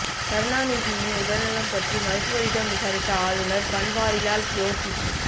கருணாநிதியின் உடல்நலம் பற்றி மருத்துவரிடம் விசாரித்த ஆளுநர் பன்வாரிலால் புரோஹித்